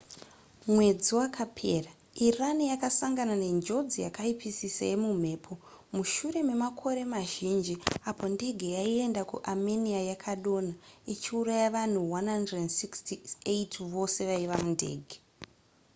mwedzi wakapera iran yakasangana nenjodzi yakaipisisa yemumhepo mushure memakore mazhinji apo ndege yaienda kuarmenia yakadonha ichiuraya vanhu 168 vose vaiva mundege